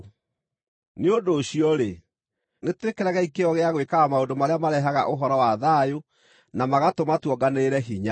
Nĩ ũndũ ũcio-rĩ, nĩtwĩkĩragei kĩyo gĩa gwĩkaga maũndũ marĩa marehaga ũhoro wa thayũ na magatũma tuonganĩrĩre hinya.